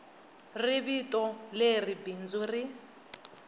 ri vito leri bindzu ri